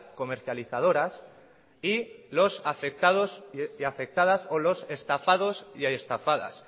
comercializadoras y los afectados y afectadas o los estafados y estafadas